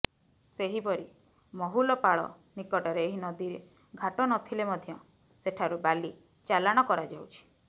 ସେହିପରି ମହୁଲପାଳ ନିକଟରେ ଏହି ନଦୀରେ ଘାଟ ନଥିଲେ ମଧ୍ୟ ସେଠାରୁ ବାଲି ଚାଲାଣ କରାଯାଉଛି